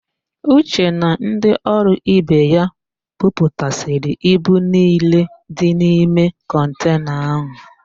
Uche na ndị ọrụ ibe ya buputasịrị ibu niile dị n'ime kọntena áhụ̀.